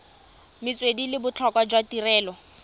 metswedi le botlhokwa jwa tirelo